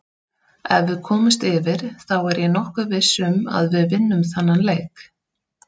Ef við komumst yfir þá er ég nokkuð viss um að við vinnum þennan leik.